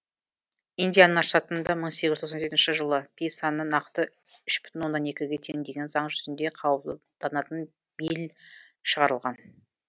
индиана штатында мың сегіз жүз тоқсан жетінші жылы пи саны нақты үш бүтін оннан екіге тең деген заң жүзінде қабылданатын билль шығарылған